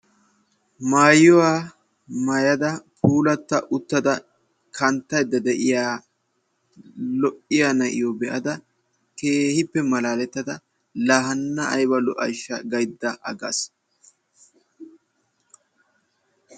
Maayuwaa maayada puulatta uttada kanttayidda de"iya lo"iya na"iyoo be"ada keehippe malaaletada la hanna ayiba lo"ayishsha gayidda aggas.